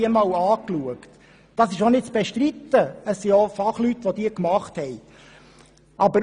Die Kosten-Nutzen-Analyse ist nicht zu bestreiten, zumal die Studie von Fachleuten erstellt wurde.